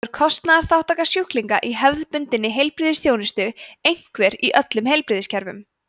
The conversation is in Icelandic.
þá er kostnaðarþátttaka sjúklinga í hefðbundinni heilbrigðisþjónustu einhver í öllum heilbrigðiskerfum